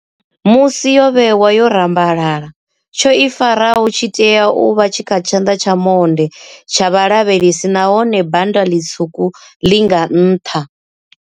Musi yo vhewa yo rambalala, tsho i faraho tshi tea u vha tshi kha tshanḓa tsha monde tsha vhalavhalesi nahone bannda ḽitswuku ḽi nga nṱha.